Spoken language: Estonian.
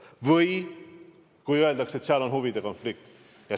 Või kui öeldakse, et seal on huvide konflikt.